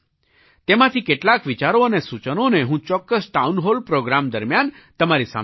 તેમાંથી કેટલાંક વિચારો અને સૂચનોને હું ચોક્કસ ટાઉન હૉલ પ્રૉગ્રામ દરમિયાન તમારી સામે રાખીશ